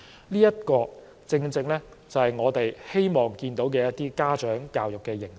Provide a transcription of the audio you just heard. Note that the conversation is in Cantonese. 這些正是我們希望看到的家長教育形式。